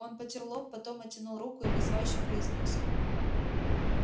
он потёр лоб потом оттянул руку и вызывающе произнёс